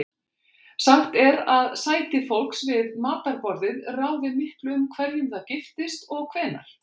Sagt er að sæti fólks við matarborðið ráði miklu um hverjum það giftist og hvenær.